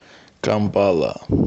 кампала